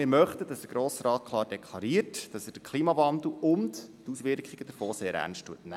Wir möchten aber, dass der Grosse Rat klar deklariert, dass er den Klimawandel und die Auswirkungen davon sehr ernst nimmt.